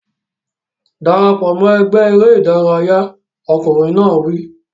Dara pọ̀ mọ́ ẹgbẹ́ eré ìdárayá! Ọkùnrin náà wí.